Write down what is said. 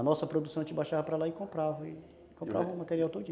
A nossa produção, a gente baixava para lá e comprava, comprava o material todinho.